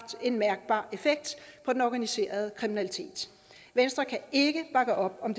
en mærkbar effekt på den organiserede kriminalitet venstre kan ikke bakke op om